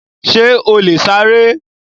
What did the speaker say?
Ṣè ó lè ṣàrẹ̀?